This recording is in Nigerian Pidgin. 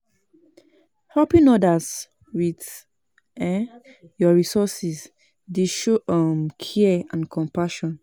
Helping odas with um yur resources dey show um care and compassion.